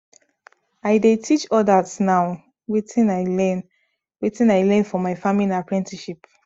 i dey teach others now wetin i learn wetin i learn for my farming apprenticeship